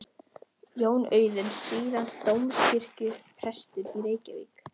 Jón Auðuns, síðar dómkirkjuprestur í Reykjavík.